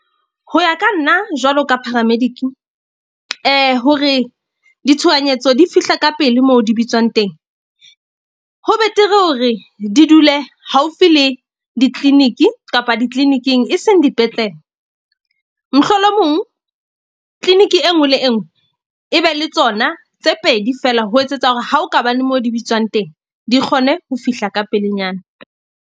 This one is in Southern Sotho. Ho ya ka nna jwalo ka paramedic-i hore ditshohanyetso di fihla ka pele moo di bitswang teng, ho betere hore di dule haufi le di-clinic kapa di-clinic-ing e seng dipetlele. Mohlolomong clinic e nngwe le e nngwe e be le tsona tse pedi feela ho etsetsa hore ha o ka ba le moo di bitswang teng, di kgone ho fihla ka pelenyana.